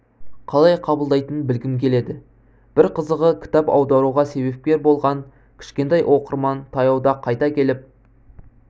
қалай қабылдайтынын білгім келеді бір қызығы кітап аударуға себепкер болған кішкентай оқырман таяуда қайта келіп